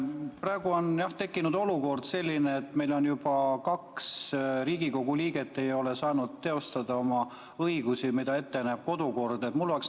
Praegu on tekkinud selline olukord, et meil juba kaks Riigikogu liiget ei ole saanud teostada oma õigusi, mida näeb ette kodukord.